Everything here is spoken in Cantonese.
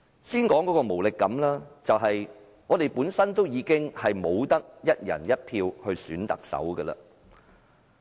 讓我先說無力感，就是我們不能夠"一人一票"選特首。